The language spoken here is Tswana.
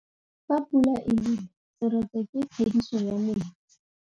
Fa pula e nelê serêtsê ke phêdisô ya metsi.